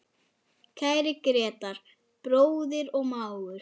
Kæri Grétar, bróðir og mágur.